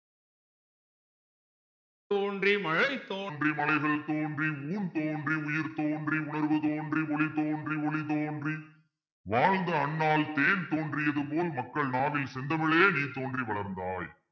தோன்றி மலைத்தோன்றி மலைகள் தோன்றி முன் தோன்றி உயிர் தோன்றி உணர்வு தோன்றி ஒளி தோன்றி ஒளி தோன்றி வாழ்ந்த அன்னால் தேன் தோன்றியது போல் மக்கள் நாவில் செந்தமிழே நீ தோன்றி வளர்ந்தாய்